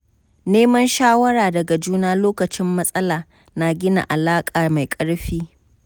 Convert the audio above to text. Neman shawara daga juna lokacin matsala na gina alaƙa mai ƙarfi.